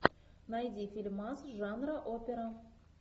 найди фильмас жанра опера